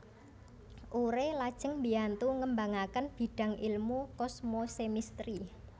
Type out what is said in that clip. Urey lajeng mbiyantu ngembangaken bidang ilmu cosmochemistry